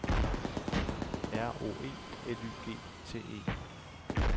R O E L Y G T E